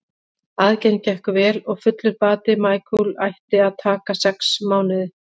Aðgerðin gekk vel og fullur bati Michael ætti að taka sex mánuði.